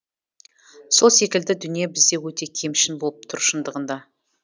сол секілді дүние бізде өте кемшін болып тұр шындығында